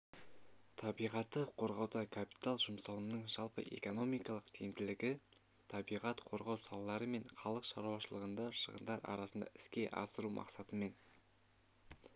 табиғатты қорғауда капитал жұмсалымының жалпы экономикалық тиімділігі табиғат қорғау салалары мен халық шаруашылығында шығындар арасында іске асыру мақсатымен